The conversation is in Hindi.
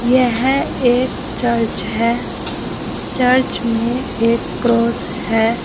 यह एक चर्च है चर्च में एक क्रॉस है।